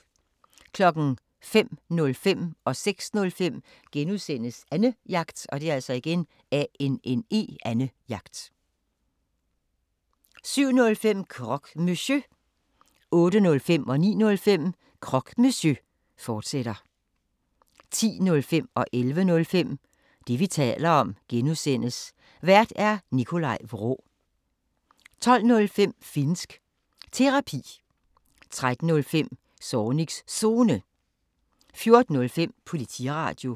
05:05: Annejagt (G) 06:05: Annejagt (G) 07:05: Croque Monsieur 08:05: Croque Monsieur, fortsat 09:05: Croque Monsieur, fortsat 10:05: Det, vi taler om (G) Vært: Nikolaj Vraa 11:05: Det, vi taler om (G) Vært: Nikolaj Vraa 12:05: Finnsk Terapi 13:05: Zornigs Zone 14:05: Politiradio